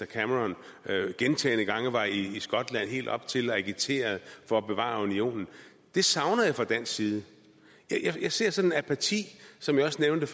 cameron gentagne gange var i skotland helt op til afstemningen og agiterede for at bevare unionen det savner jeg fra dansk side jeg ser sådan en apati som jeg også nævnte